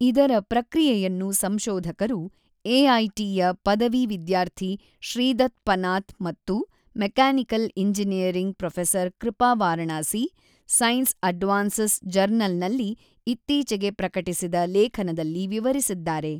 ಇದರ ಪ್ರಕ್ರಿಯೆಯನ್ನು ಸಂಶೋಧಕರು - ಎಐಟಿ ಯ ಪದವಿ ವಿದ್ಯಾರ್ಥಿ ಶ್ರೀದತ್‌ ಪನಾತ್‌ ಮತ್ತು mechanical engineering professor Kripa Varanasi - Science Advances ಜರ್ನಲ್‌ನಲ್ಲಿ ಇತ್ತೀಚಿಗೆ ಪ್ರಕಟಿಸಿದ ಲೇಖನದಲ್ಲಿ ವಿವರಿಸಿದ್ದಾರೆ.